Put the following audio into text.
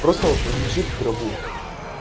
просто вот лежит в гробу